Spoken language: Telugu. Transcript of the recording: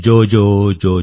జోజోజో